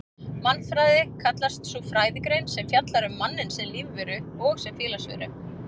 Mannfræði kallast sú fræðigrein sem fjallar um manninn sem lífveru og sem félagsveru.